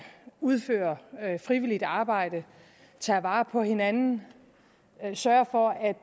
udføre frivilligt arbejde tage vare på hinanden og sørge for at